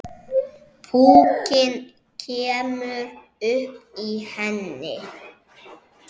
Púkinn kemur upp í henni.